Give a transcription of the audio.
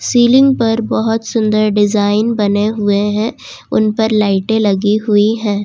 Ceiling पर बहोत सुंदर डिजाइन बने हुए है उन पर लाइटे लगी हुई हैं।